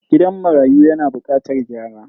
Gidan marayun yana bukatar gyara.